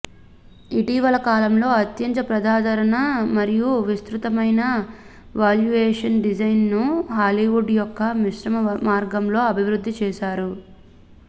ఇటీవల కాలంలో అత్యంత ప్రజాదరణ మరియు విస్తృతమైన వాల్యుయేషన్ డిజైన్ను హాలీవుడ్ యొక్క మిశ్రమ మార్గంలో అభివృద్ధి చేశారు